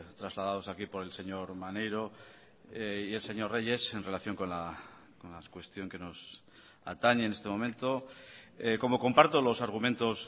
trasladados aquí por el señor maneiro y el señor reyes en relación con la cuestión que nos atañe en este momento como comparto los argumentos